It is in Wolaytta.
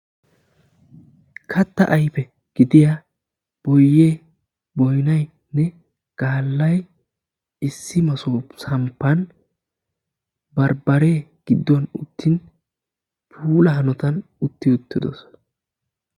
Katta ayfe gidiya boyye boynnayinne donoy bambbariyaara puula hanotan uttidosonna.